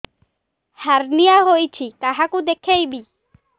hernia ହୋଇଛି କାହାକୁ ଦେଖେଇବି